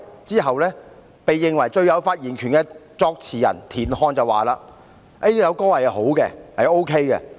之後，被認為最有發言權的作詞人田漢表示："該曲是好的。